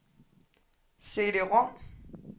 CD-rom